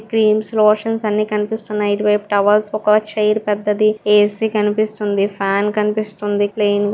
Creams lotions అన్ని కనిపిస్తున్నాయి. ఇటువైపు టవల్స్ ఒక చేరు పెద్దది. ఏ__సి కనిపిస్తుంది. ఫ్యాన్ కనిపిస్తుంది ప్లేన్ --